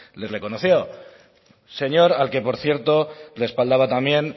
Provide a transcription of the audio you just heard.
le reconoció señor al que por cierto respaldaba también